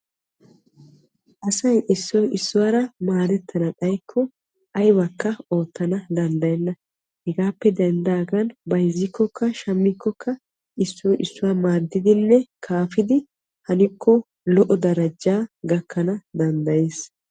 Asay issoy issuwaara maadettana xayikko aybakka oottana danddayenna. hegaappe denddaagan bayzzikkokka shammikkokka issoy issuwa maadiddinne kaafidi lo'o darajaa gakkana danddayees.